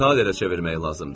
Talerə çevirmək lazımdır.